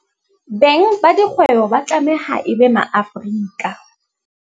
Beng ba dikgwebo ba tlameha e be MaAfrika.